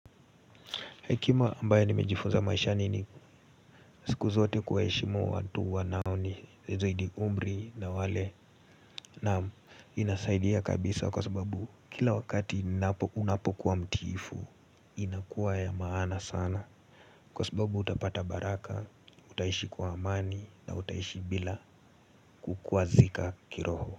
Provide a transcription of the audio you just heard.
Hekima ambayo nimejifunza maishani ni siku zote kuwaheshimu watu wanaonizidi umri na wale naam inasaidia kabisa kwa sababu kila wakati unapo kuwa mtiifu inakuwa ya maana sana kwa sababu utapata baraka Utaishi kwa amani na utaishi bila kukwazika kiroho.